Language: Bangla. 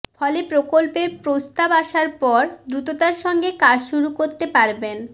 ফলে প্রকল্পের প্রস্তাব আসার পর দ্রুততার সঙ্গে কাজ শুরু করতে পারবেন